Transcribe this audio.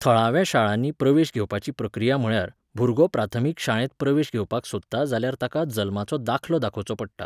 थळांव्या शाळांनी प्रवेश घेवपाची प्रक्रिया म्हळ्यार, भुरगो प्राथमीक शाळेंत प्रवेश घेवपाक सोदता जाल्यार ताका जल्माचो दाखलो दाखोवचो पडटा